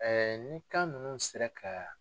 ni kan ninnu sera ka